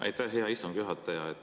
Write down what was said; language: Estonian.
Aitäh, hea istungi juhataja!